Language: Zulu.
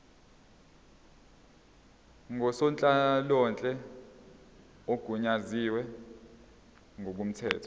ngusonhlalonhle ogunyaziwe ngokomthetho